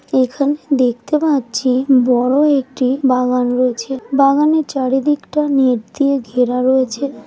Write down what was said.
এখানে দেখতে পাচ্ছি বড় একটি বাগান রয়েছে বাগানের চারিদিকটা নেট দিয়ে ঘেরা রয়েছে ।